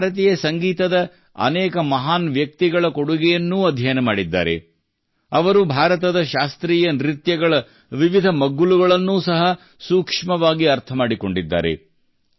ಅವರು ಭಾರತೀಯ ಸಂಗೀತದ ಅನೇಕ ಮಹಾನ್ ವ್ಯಕ್ತಿಗಳ ಕೊಡುಗೆಯನ್ನು ಅಧ್ಯಯನ ಮಾಡಿದ್ದಾರೆ ಅವರು ಭಾರತದ ಶಾಸ್ತ್ರೀಯ ನೃತ್ಯಗಳ ವಿವಿಧ ಮಗ್ಗುಲುಗಳನ್ನು ಸಹ ಸೂಕ್ಷ್ಮವಾಗಿ ಅರ್ಥಮಾಡಿಕೊಂಡಿದ್ದಾರೆ